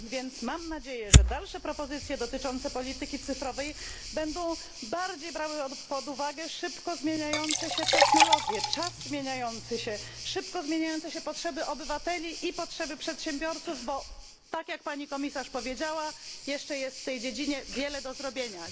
Więc mam nadzieję, że dalsze propozycje dotyczące polityki cyfrowej będą bardziej brały pod uwagę szybko zmieniające się technologie, czas zmieniający się, szybko zmieniające się potrzeby obywateli i potrzeby przedsiębiorców, bo tak jak Pani Komisarz powiedziała jeszcze jest w tej dziedzinie wiele do zrobienia.